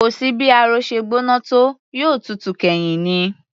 Kò sí bí ààrò ṣe gbóná tó, yóò tutù kẹ́yìn ni